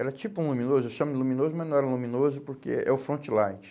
Era tipo um luminoso, eu chamo de luminoso, mas não era luminoso porque é o front light.